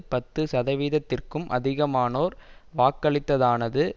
பத்து சதவீதத்திற்கும் அதிகமானோர் வாக்களித்ததானது